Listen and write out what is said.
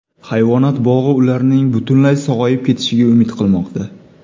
Hayvonot bog‘i ularning butunlay sog‘ayib ketishiga umid qilmoqda.